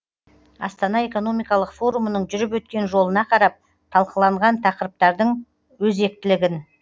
астана экономикалық форумының жүріп өткен жолына қарап талқыланған тақырыптардың өзектілігін